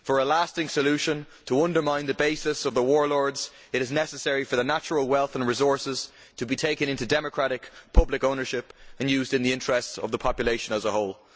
For a lasting solution to undermine the basis of the warlords, it is necessary for the natural wealth and resources to be taken into democratic, public ownership and used in the interests of the population as a whole.